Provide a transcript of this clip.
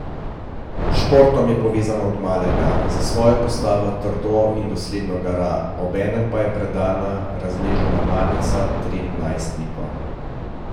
S športom je povezana od malega, za svojo postavo trdo in dosledno gara, obenem pa je predana, raznežena mamica trem najstnikom.